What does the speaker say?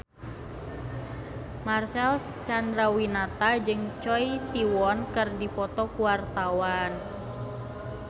Marcel Chandrawinata jeung Choi Siwon keur dipoto ku wartawan